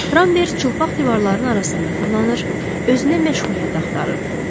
Ramber çılpaq divarların arasında fırlanır, özünə məşğuliyyət axtarırdı.